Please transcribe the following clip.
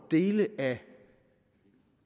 dele af